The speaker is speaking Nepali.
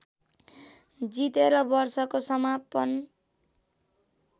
जितेर वर्षको समापन